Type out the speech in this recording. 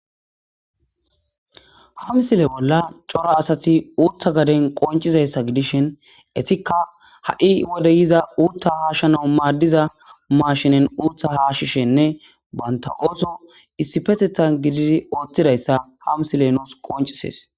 ha misile bolla cora asati uutta gaden qoncizayssa gidishin etikka ha7i wode yiza uutta haashshana maaddiza maashinen urtha hashishenne banta ooto issi petethan gididi ooththidayssa ha misile nus qoncisees